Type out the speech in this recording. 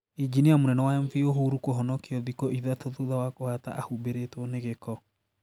Injinia mũnene wa MV Uhuru kũhonokio thikũ ithatũ thutha wa kũhata ahubĩrĩtwo ni gĩko